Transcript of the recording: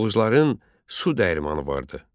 Oğuzların su dəyirmanı vardı.